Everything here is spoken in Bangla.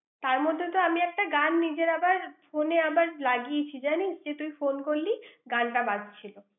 তার মধ্যে তো আমি একটা গান নিজের আবার, phone এ আবার লাগিয়েছি জানিস। যে তুই phone করলি, গানটা বাজছিল।